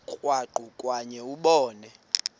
krwaqu kwakhe ubone